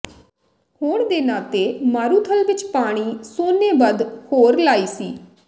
ਹੋਣ ਦੇ ਨਾਤੇ ਮਾਰੂਥਲ ਵਿੱਚ ਪਾਣੀ ਸੋਨੇ ਵੱਧ ਹੋਰ ਲਾਈ ਸੀ